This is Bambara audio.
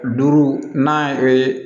Duuru n'a ye